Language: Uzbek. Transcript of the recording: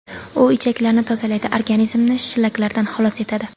U ichaklarni tozalaydi, organizmni shlaklardan xalos etadi.